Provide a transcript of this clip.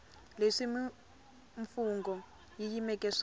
leswi mimfungho yi yimeleke swona